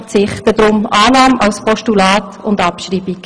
Deshalb: Annahme als Postulat und Abschreibung.